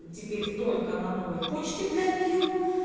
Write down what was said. теперь только на новой почте для нее